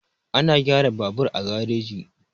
Ana gyara babur a gareji.